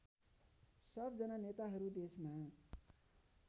सबजना नेताहरू देशमा